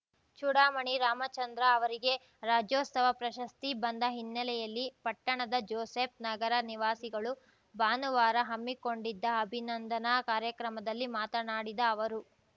ಚೂಡಾಮಣಿ ರಾಮಚಂದ್ರ ಅವರಿಗೆ ರಾಜ್ಯೋತ್ಸವ ಪ್ರಶಸ್ತಿ ಬಂದ ಹಿನ್ನೆಲೆಯಲ್ಲಿ ಪಟ್ಟಣದ ಜೋಸೆಫ್‌ ನಗರ ನಿವಾಸಿಗಳು ಭಾನುವಾರ ಹಮ್ಮಿಕೊಂಡಿದ್ದ ಅಭಿನಂದನಾ ಕಾರ್ಯಕ್ರಮದಲ್ಲಿ ಮಾತನಾಡಿದ ಅವರು